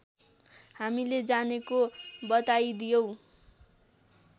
हामीले जानेको बताइदियौँ